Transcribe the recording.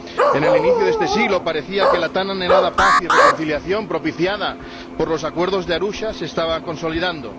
En el inicio de este siglo, parecía que la tan anhelada paz y reconciliación, propiciada por los Acuerdos de Arusha, se estaba consolidando.